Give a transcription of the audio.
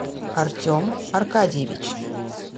артем аркадьевич